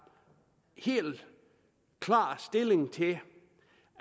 helt klar stilling til det